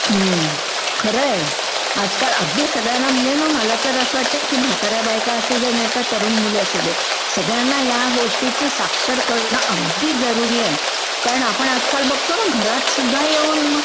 हम्म खरं आहे. आजकाल अगदी सगळ्यांना म्हणजे मला तर असं वाटतं की म्हाताऱ्या बायका असू देत नाहीतर तरूण मुली असू देत सगळ्यंना ह्या गोष्टींशी साक्षर करणं अगदी करूरी आहे. कराण आपणं आजकाल बघतो ना घरातसुध्दा येऊन